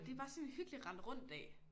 Det er bare sådan en hyggelig rende rundt dag